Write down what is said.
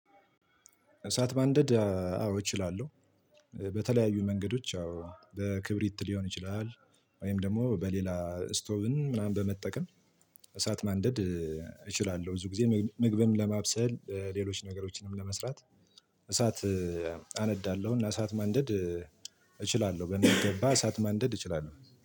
እሳት ማንደድ አዎ እችላለሁ በተለያዩ መንገዶች አዎ በክብሪት ሊሆን ይችላል ወይም ደግሞ በሌላ ስቶቭን ምናምን በመጠቀም እሳት ማንደድ እችላለሁ። ብዙ ጊዜ ምግብም ለማብሰል ሌሎች ነገሮችንም ለመስራት እሳት አነዳለሁ እና እሳት ማንደድ እችላለሁ በሚገባ እሳት ማንደድ እችላለሁ።